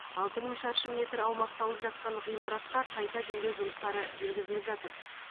алты мың шаршы метр аумақты алып жатқан ғимаратқа қайта жөндеу жұмыстары жүргізіліп жатыр